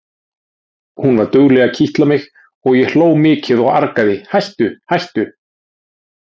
Hún var dugleg að kitla mig og ég hló mikið og argaði: Hættu hættu!